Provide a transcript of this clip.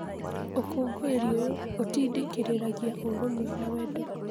Ũkũngũĩri ũyũ ũtindĩkĩrĩragia ũrũmwe na wendo